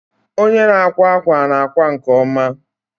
Onye na-akwa akwa na-akwa nke ọma